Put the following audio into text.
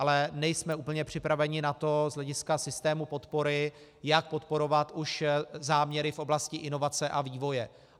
Ale nejsme úplně připraveni na to z hlediska systému podpory, jak podporovat už záměry v oblasti inovace a vývoje.